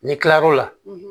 Ni kila lo la